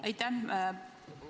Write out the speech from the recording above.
Aitäh!